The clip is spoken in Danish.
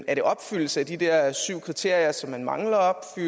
er det opfyldelse af de der syv kriterier som man mangler